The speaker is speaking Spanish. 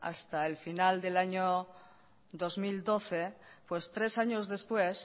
hasta el final del año dos mil doce pues tres años después